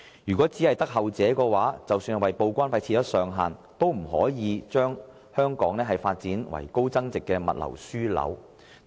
如果是後者的話，則即使當局就報關費設上限，也不可能因此令香港發展成為高增值物流樞紐。